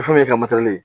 Fɛn mun ye ka ye